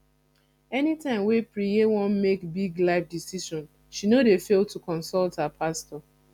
anytime wey preye wan make big life decision she no dey fail to consult her pastor